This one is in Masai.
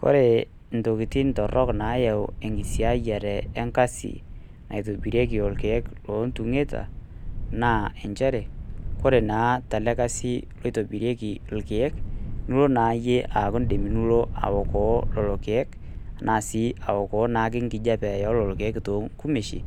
Kore intokiting torrok naayau enkisiayiare enkasi naitobirieki ilkeek looltung'eta naa njere ore naa tele kasi loitobirieki ilkeek nilo naa iyie aaku nii'dim nilo aokoo lelo keek enaa sii aokoo engijape oolelo keek too ngumeishin